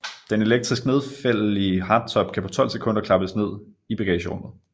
Den elektrisk nedfældelige hardtop kan på 12 sekunder klappes ned i bagagerummet